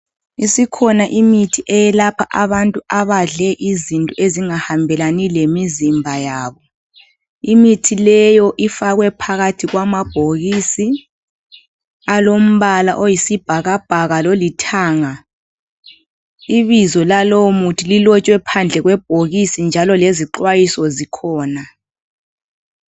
Isikhona imithi eyelapha abantu abadle izinto abangahambelani lemizimba yabo. Imithi leyo ifakwe phakathi kwamabhokisi, alemibala oyisibhakabhaka, lolithanga. lbizo lalowomuthi libhalwe ngaphandle kwebhokisi, njalo lezixwayiso zikhona.